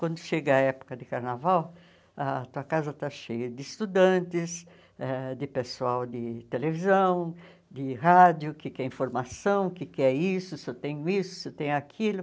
Quando chega a época de carnaval, a tua casa está cheia de estudantes, eh de pessoal de televisão, de rádio, que quer informação, que quer isso, se eu tenho isso, se eu tenho aquilo.